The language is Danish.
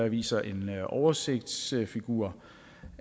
viser en oversigtsfigur